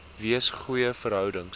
wees goeie verhoudings